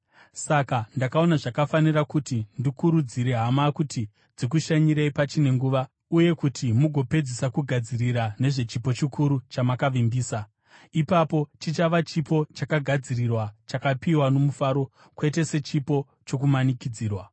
Saka ndakaona zvakafanira kuti ndikurudzire hama kuti dzikushanyirei pachine nguva uye kuti mugopedzisa kugadzirira nezvechipo chikuru chamakavimbisa. Ipapo chichava chipo chakagadzirirwa chakapiwa nomufaro, kwete sechipo chokumanikidzirwa.